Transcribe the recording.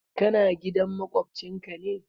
Ka na gidan maƙwancin ka ne?